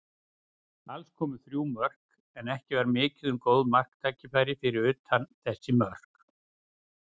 Alls komu þrjú mörk, en ekki var mikið um góð marktækifæri fyrir utan þessi mörk.